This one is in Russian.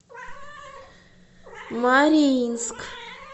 мариинск